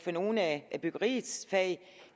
på nogle af byggeriets fag